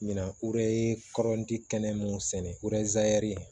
Ɲina o de kɔrɔnti kɛnɛ mun sɛnɛ